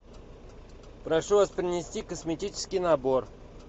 прошу вас принести косметический набор